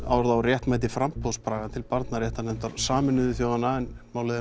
orð á réttmæti framboðs Braga til barnaréttarnefndar Sameinuðu þjóðanna en málið